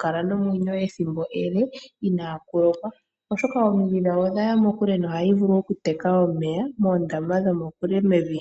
kala nomwenyo ethimbo ele inaa kulokwa, oshoka omidhi dhawo odhaya mokule nohadhi vulu okuteka omeya moondama dhomokule mevi.